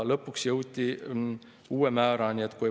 Lõpuks jõuti uue määrani.